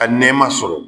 A nɛma sɔrɔ